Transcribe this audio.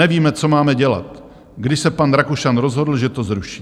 Nevíme, co máme dělat, když se pan Rakušan rozhodl, že to zruší."